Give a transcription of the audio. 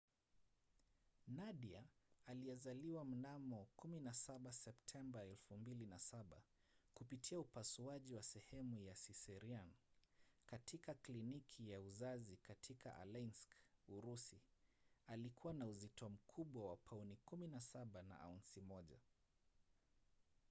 nadia aliyezaliwa mnamo 17 septemba 2007 kupitia upasuaji wa sehemu ya cesarean katika kliniki ya uzazi katika aleisk urusi alikuwa na uzito mkubwa wa pauni 17 na aunsi 1